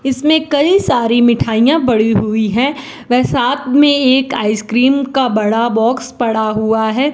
इसमें कई सारी मिठाइयां बड़ी हुई हैं व साथ में एक आइसक्रीम का बड़ा बॉक्स पड़ा हुआ है।